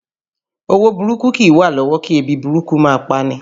Owó burúkú kìí wà lọ́wọ́ kí ebi burúkú máa pani